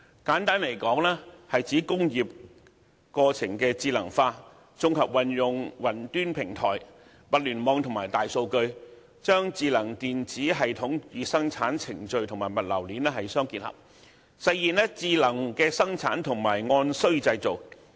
簡單來說，是指工業過程智能化，綜合運用雲端平台、物聯網和大數據，將智能電子系統與生產程序和物流鏈相互結合，實現智能生產和按需製造。